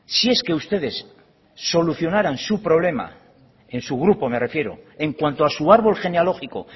si es que ustedes solucionaran su problema en su grupo me refiero en cuanto a su árbol genealógico